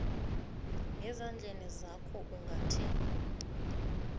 ngezandleni zakho ungathinti